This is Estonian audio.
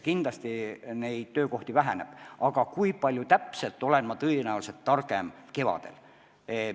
Kindlasti jääb neid töökohti vähemaks, aga kui palju täpselt, selle koha pealt olen tõenäoliselt kevadel targem.